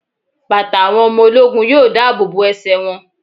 Bàtà àwọn ọmọ ológun yóò dáàbò bo ẹsẹ̀ wọn.